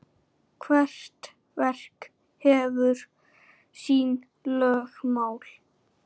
Hvert verk hefur sín lögmál.